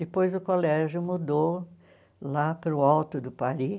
Depois, o colégio mudou lá para o alto do Pari.